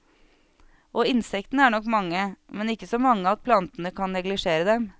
Og insektene er nok mange, men ikke så mange at plantene kan neglisjere dem.